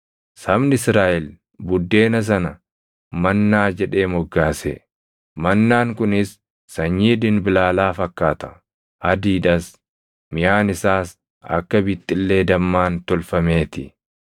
Sabni Israaʼel buddeena sana “mannaa” jedhee moggaase. Mannaan kunis sanyii dinbilaalaa fakkaata; adiidhas; miʼaan isaas akka bixxillee dammaan tolfamee ti.